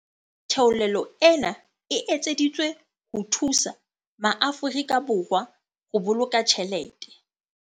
Theolelo ena e etseditswe ho thusa maAfori ka Borwa ho boloka tjhelete.